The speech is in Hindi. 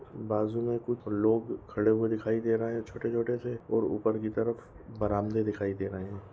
बाज़ू मे कुछ लोग खड़े हुए दिखाई दे रहे है छोटे छोटे से और ऊपर की तरफ बरामदे दिखाई दे रहे है।